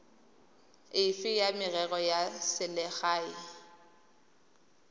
efe ya merero ya selegae